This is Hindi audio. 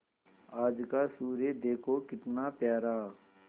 आज का सूर्य देखो कितना प्यारा